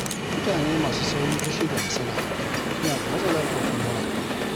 Mutane masu saurin fushi da hasala, suna da matsalar ƙwaƙwalwa.